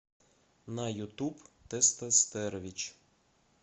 на ютуб тестостерович